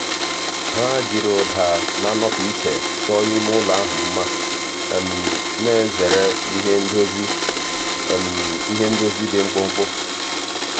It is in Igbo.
há jìrì ụ́dà nà-ànọ́pụ́ ìchè chọ́ọ́ ímé ụ́lọ̀ ahụ́ mma nà-èzèrè ìhè ndozi ìhè ndozi dị mkpụ́mkpụ́.